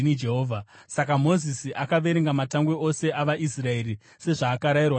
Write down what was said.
Saka Mozisi akaverenga matangwe ose avaIsraeri, sezvaakarayirwa naJehovha.